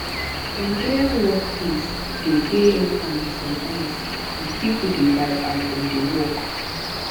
nigerian workplace de dey informal sometimes and pipo dey vibe as dem dey work